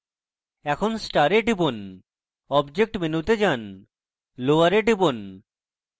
এখন star এ টিপুন object মেনুতে যান lower এ টিপুন